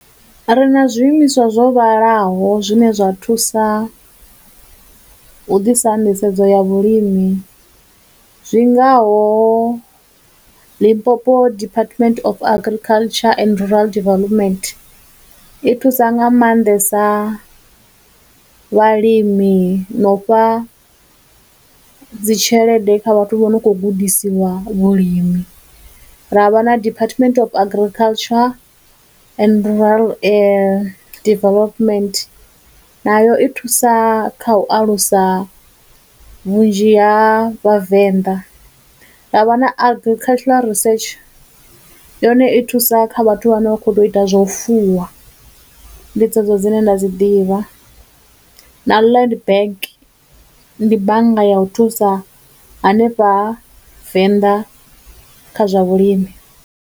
Ri na zwiimiswa zwo vhalaho zwine zwa thusa u ḓisa nḓisedzo ya vhulimi zwingaho Limpopo Department of Agriculture and Rural Development, i thusa nga maanḓesa vhalimi na u fha dzi tshelede kha vhathu vho no khou gudisiwa vhulimi, ra vha na Department of Agriculture and Rural Development nayo i thusa kha u alusa vhunzhi ha vhavenḓa, ra vha na Agricultural Research, yone i thusa kha vhathu vhane vha khou ḓo ita zwa u fuwa, ndi dze dzo dzine nda dzi ḓivha, na Land Bank, ndi bannga ya u thusa hanefha venḓa kha zwa vhulimi.